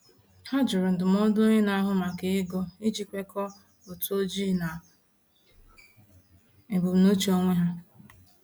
Ha jụrụ ndụmọdụ onye na-ahụ maka ego iji kwekọọ ụtụ ojii na ebumnuche onwe ha.